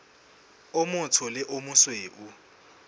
o motsho le o mosweu